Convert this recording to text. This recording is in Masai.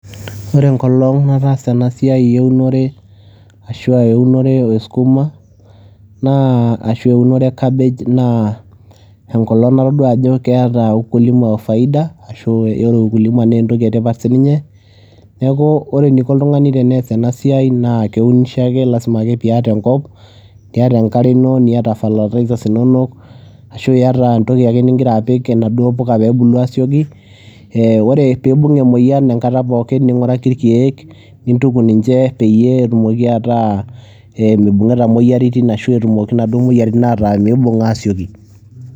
Ore enkolong' nataasa ena siai eunore ashu aa eunore e skuma naa ashu eunore e cabbage naa enkolong' natodua ajo keeta ukulima faida ashu ore ukulima nee entoki e tipat sininye. Neeku ore eniko oltung'ani tenees ena siai naa keunishoa ake lazima ake piiyata enkop, niata enkare ino, niyata fertilizers inonok ashu iyata entoki ake ning'ira aapik enaduo puka peebulu aasioki. Ee ore piibung' emoyian enkata pokin ning'uraki irkeek, nintuku ninche peyie etumoki ataa ee mibung'ita imoyiaritin ashu etumoki inaduo moyiaritin ataa miibung' aasioki.